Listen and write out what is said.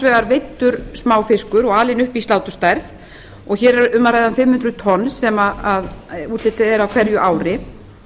vegar veiddur smáfiskur og alinn upp í sláturstærð og hér er um að ræða fimm hundruð tonn sem úthlutað er á hverju ári